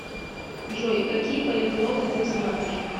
джой какие полиглоты ты знаешь